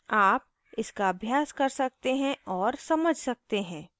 आप इसका अभ्यास कर सकते हैं और समझ सकते हैं